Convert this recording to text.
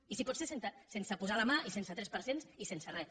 i si pot ser sense posar la mà i sense tres per cents i sense res